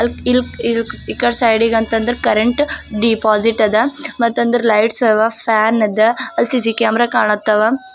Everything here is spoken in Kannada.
ಇಲ್ ಇಲ್ ಇಕಡ ಸೈಡಿ ಗಂತಂದ್ರ ಕರೆಂಟ್ ಡಿಪಾಸಿಟ್ ಅದ ಮತಂದ್ರ ಲೈಟ್ಸ್ ಅವಾ ಫ್ಯಾನ್ ಅದ ಸಿ_ಸಿ_ಟಿ_ವಿ ಕ್ಯಾಮೆರಾ ಕಾಣತ್ತಾವ.